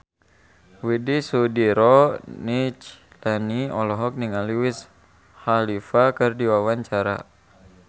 Widy Soediro Nichlany olohok ningali Wiz Khalifa keur diwawancara